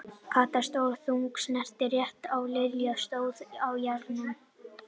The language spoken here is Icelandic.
Kata, stór og þung, sneri rétt og Lilla stóð á járnunum.